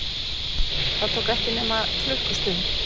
Það tók ekki nema klukkustund.